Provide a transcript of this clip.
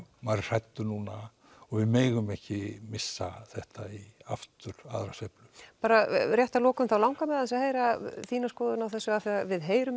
maður er hræddur núna og við megum ekki missa þetta aftur aðra sveiflu bara rétt að lokum þá langar mig til að heyra þína skoðun á þessu við heyrum